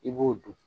I b'o dun